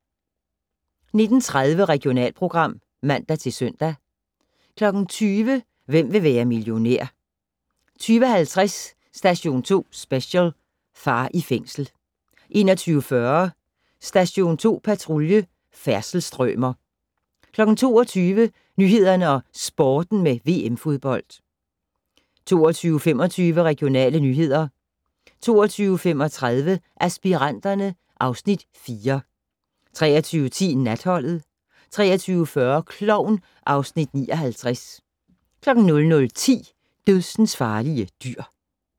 19:30: Regionalprogram (man-søn) 20:00: Hvem vil være millionær? 20:50: Station 2 Special: Far i fængsel 21:40: Station 2 Patrulje: Færdselsstrømer 22:00: Nyhederne og Sporten med VM-fodbold 22:25: Regionale nyheder 22:35: Aspiranterne (Afs. 4) 23:10: Natholdet 23:40: Klovn (Afs. 59) 00:10: Dødsensfarlige dyr